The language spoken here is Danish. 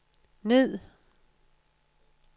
ned